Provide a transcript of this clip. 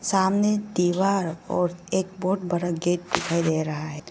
सामने दीवार और एक बहुत बड़ा गेट दिखाई दे रहा है।